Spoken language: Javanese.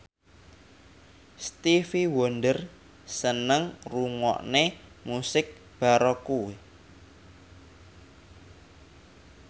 Stevie Wonder seneng ngrungokne musik baroque